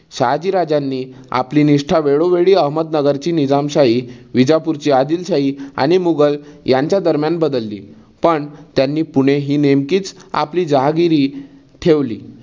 शहाजीराजांनी आपली निष्ठा वेळोवेळी अहमदनगरची निझामशाही, विजापूरची आदिलशाही आणि मुघल यांच्या दरम्यान बदलली. पण त्यानी पुणे हि नेमकीच आपली जहागिरी ठेवली.